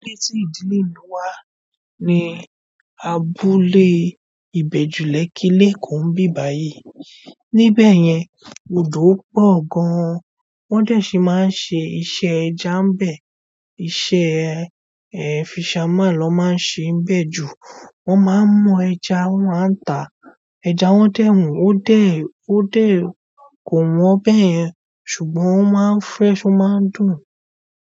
Abúlé tí ìdílé mi wà ní abúlé ìbejù lẹkii leko ń bí báyi. Níbẹ̀ yẹn lodò pọ̀ gan. Wọ́n dẹ sì má ń ṣe iṣẹ́ ẹja nbẹ. Iṣẹ́ fisherman ló má ń ṣe nbẹ jù. Wọ́n má ń mú ẹja wọ́n má ta. Ẹja wọn dẹ wọn o dẹ o dẹ kó wọn bẹ́ yẹn ṣùgbọ́n ó má ń fresh ó má ń dùn.